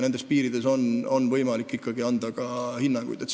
Nendes piirides on võimalik ikkagi ka hinnanguid anda.